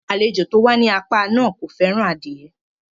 Àlejò tí ó wà ní apá náà kò fẹ́ràn adie